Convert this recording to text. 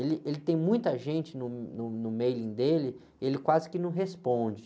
Ele, ele tem muita gente no, no, no mailing dele, ele quase que não responde.